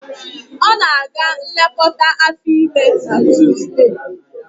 Ọ na-aga nlekọta afọ ime na Tuzdee